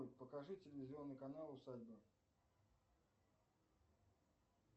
покажи телевизионный канал усадьба